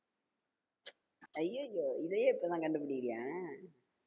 ஐயையோஇதைய இப்பதான் கண்டுபிடிக்கிறியா